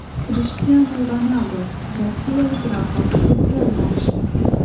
Krishtianu Ronaldu rossiyalik raqqosa qiz bilan tanishdi.